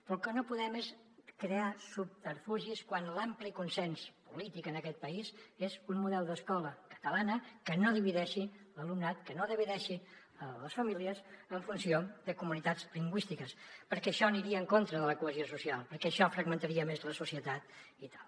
però el que no podem és crear subterfugis quan l’ampli consens polític en aquest país és un model d’escola catalana que no divideixi l’alumnat que no divideixi les famílies en funció de comunitats lingüístiques perquè això aniria en contra de la cohesió social perquè això fragmentària més la societat i tal